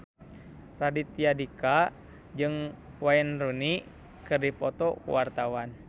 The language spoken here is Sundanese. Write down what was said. Raditya Dika jeung Wayne Rooney keur dipoto ku wartawan